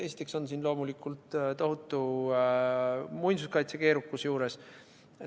Esiteks on siin loomulikult tohutu muinsuskaitse keerukus juures.